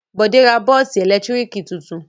Bọ̀dé ra bọ́ọ́sì ẹ̀lẹ́tíríkì tuntun?